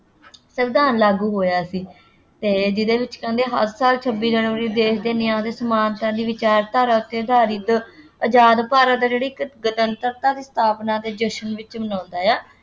ਸੰਵਿਧਾਨ ਲਾਗੂ ਹੋਇਆ ਸੀ ਅਤੇ ਜਿਹਦੇ ਵਿੱਚ ਕਹਿੰਦੇ ਹਰ ਸਾਲ ਛੱਬੀ ਜਨਵਰੀ ਦੇਸ਼ ਦੇ ਨਿਆਂ ਤੇ ਸਮਾਨਤਾ ਦੀ ਵਿਚਾਰਧਾਰਾ ਉੱਤੇ ਆਧਾਰਿਤ ਆਜ਼ਾਦ ਭਾਰਤ ਆ ਜਿਹੜਾ ਇੱਕ ਗਣਤੰਤਰਤਾ ਦੀ ਸਥਾਪਨਾ ਦੇ ਜਸ਼ਨ ਵਿੱਚ ਮਨਾਉਂਦਾ ਹੈ।